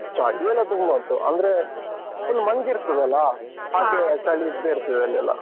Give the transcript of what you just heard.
ಚಳಿಯೆಲ್ಲ ತುಂಬ ಉಂಟು. ಅಂದ್ರೆ, full ಮಂಜ್ ಇರ್ತದಲ್ಲ? ಚಳಿ ಇದ್ದೇ ಇರ್ತದೆ ಅಲ್ಲಿಯೆಲ್ಲ.